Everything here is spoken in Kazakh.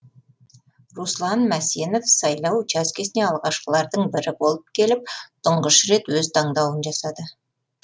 руслан мәсенов сайлау учаскесіне алғашқылардың бірі болып келіп тұңғыш рет өз таңдауын жасады